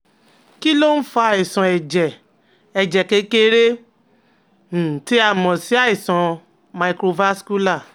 Kí ló ń fa àìsàn ẹ̀jẹ̀ ẹ̀jẹ̀ kékeré um tí a mọ̀ sí àìsàn microvascular?